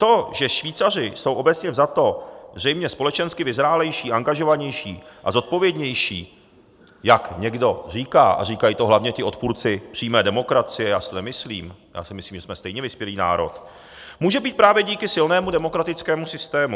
To, že Švýcaři jsou obecně vzato zřejmě společensky vyzrálejší, angažovanější a zodpovědnější, jak někdo říká - a říkají to hlavně ti odpůrci přímé demokracie, já si to nemyslím, já si myslím, že jsme stejně vyspělý národ -, může být právě díky silnému demokratickému systému.